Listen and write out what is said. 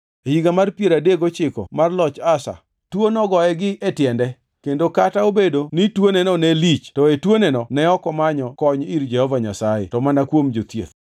E higa mar piero adek gochiko mar loch Asa, tuo nogoye gi e tiende, kendo kata obedo ni tuoneno ne lich to e tuoneno ne ok omanyo kony ir Jehova Nyasaye to mana kuom jothieth.